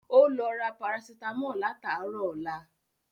Ó lọ ra Parasítámọ̀ látàárọ̀ ọlá